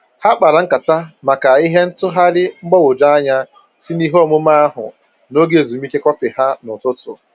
Ha kpara nkata maka ihe ntụgharị mgbagwoju anya si na ihe omume ahụ na oge ezumike kọfị ha na ụtụtụ